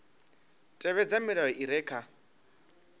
tevhedza milayo i re kha